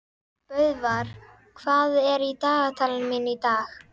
Böðvar, hvað er í dagatalinu mínu í dag?